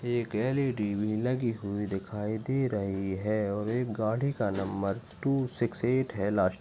एक L E _D भी लगी हुई दिखाई दे रही है और एक गाड़ी का नंबर टू सिक्स एट है लास्ट --